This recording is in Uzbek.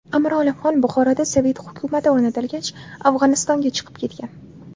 Amir Olimxon Buxoroda sovet hukumati o‘rnatilgach, Afg‘onistonga chiqib ketgan.